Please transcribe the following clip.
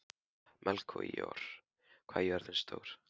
Melkíor, hvað er jörðin stór?